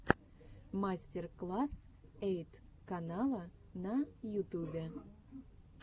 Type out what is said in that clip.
мастер класс эйт канала на ютубе